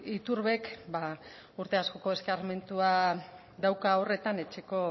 iturbek urte askoko eskarmentua dauka horretan etxeko